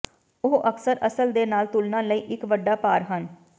ਉਹ ਅਕਸਰ ਅਸਲ ਦੇ ਨਾਲ ਤੁਲਨਾ ਲਈ ਇੱਕ ਵੱਡਾ ਭਾਰ ਹਨ